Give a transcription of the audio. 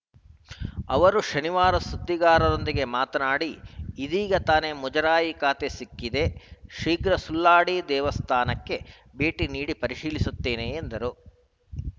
ಅವರು ಶನಿವಾರ ಸುದ್ದಿಗಾರರೊಂದಿಗೆ ಮಾತನಾಡಿ ಇದೀಗ ತಾನೆ ಮುಜರಾಯಿ ಖಾತೆ ಸಿಕ್ಕಿದೆ ಶೀಘ್ರ ಸುಳ್ವಾಡಿ ದೇವಸ್ಥಾನಕ್ಕೆ ಭೇಟಿ ನೀಡಿ ಪರಿಶೀಲಿಸುತ್ತೇನೆ ಎಂದರು